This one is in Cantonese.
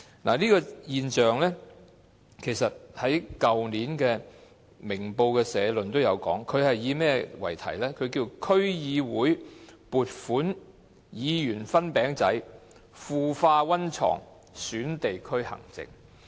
《明報》的社論去年曾論述這種現象，該篇社論題為"區會撥款議員分餅仔腐化溫床損地區行政"。